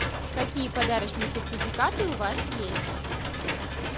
какие подарочные сертификаты у вас есть